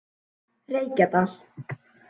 Reykjadal